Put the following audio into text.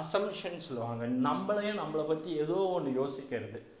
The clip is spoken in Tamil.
assumption சொல்லுவாங்க நம்மளே நம்மளை பத்தி ஏதோ ஒண்ணு யோசிக்கிறது